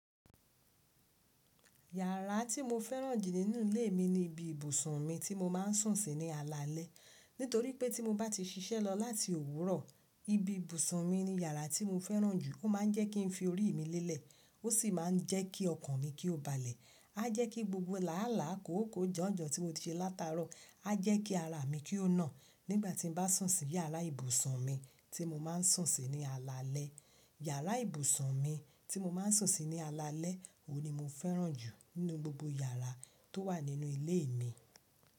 Yàrá tí mo fẹ́ràn jù nínú ilé mi ni ibi ibùsùn mi tí mo máa ń sùn sí ní alalẹ́. Nítorí pé tí mo bá ti ṣiṣẹ́ lọ láti òwúrọ̀, ibi ibùsùn mi ni yàrá tí mo fẹ́ràn jù. Ó máa ń jẹ́ kí n fi orí mi lélẹ̀. Ó sì máa ń jẹ́ kí ọkàn mi kí ó balẹ̀. Á jẹ́ kí gbogbo làálàá, kòókòó, janjan tí mo ti ṣe látarọ à jẹ́ kí ara mi kí ó nà nígbà tí n bá sùn sí yàrá ibùsùn mi tí mo máa ń sùn sí ní alalẹ́. Yàrá ibùsùn mi tí mo máa ń sùn sí ní alalẹ́ òní mo fẹ́ràn jù nínú gbogbo yàrá tó wà nínú ilé mi.